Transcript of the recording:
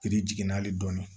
jiginna hali dɔɔni